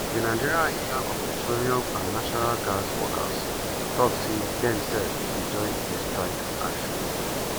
meanwhile di nigeria union of petroleum and natural gas workers tok say dem sef dey join di strike action.